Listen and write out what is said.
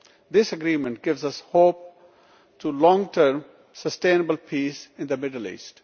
This agreement gives us hope for long term sustainable peace in the Middle East.